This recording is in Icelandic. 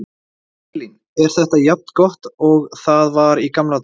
Elín: Er þetta jafn gott og það var í gamla daga?